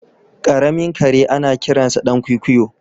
Karamin kare anakiransa dan kwikwiyo.